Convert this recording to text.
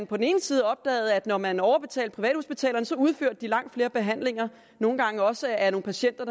på den ene side opdagede man at når man overbetalte privathospitalerne udførte de langt flere behandlinger nogle gange også af nogle patienter